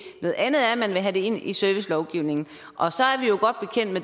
noget andet er at man vil have det ind i servicelovgivningen og